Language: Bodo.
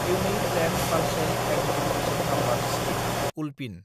unique land parcel identification number scheme (ULPIN)